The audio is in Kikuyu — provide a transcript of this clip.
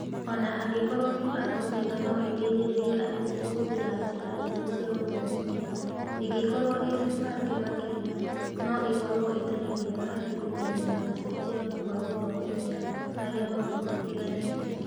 Ona angĩkorwo mĩbango mĩega no ĩteĩthĩririe arimũ kũhũthĩra njĩra njerũ cia gũthomithia ĩngĩkorwo ĩĩ mĩbange makĩrĩa, no ĩkorwo ĩtarĩ mĩega harĩ kũmenyerera gucenjia kwa gũthomithia hari maũndu matĩganĩte.